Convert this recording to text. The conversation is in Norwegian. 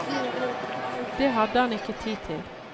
Det hadde han ikke tid til.